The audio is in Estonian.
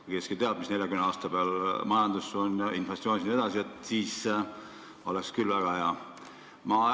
Kui keegi teaks, missugune on 40 aasta pärast majandus, inflatsioonid jne, siis oleks küll väga hea.